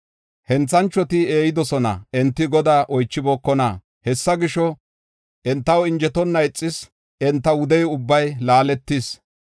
Henthanchoti eeyidosona; enti Godaa oychibookona. Hessa gisho, entaw injetonna ixis; enta wude ubbay laaletis.